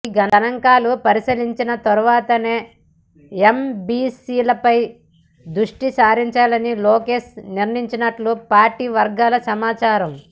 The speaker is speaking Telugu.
ఈ గణాంకాలు పరిశీలించిన తర్వాతనే ఎంబీసీలపై దృష్టి సారించాలని లోకేష్ నిర్ణయించినట్లు పార్టీ వర్గాల సమాచారం